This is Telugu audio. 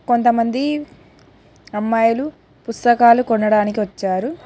కొంతమంది అమ్మాయిలు పుస్తకాలు కొనడానికి వచ్చారు.